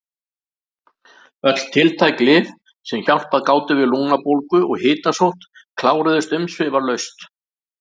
Öll tiltæk lyf sem hjálpað gátu við lungnabólgu og hitasótt kláruðust umsvifalaust.